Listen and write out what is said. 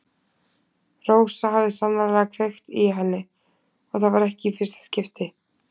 Rósa hafði sannarlega kveikt í henni og það var ekki í fyrsta skipti.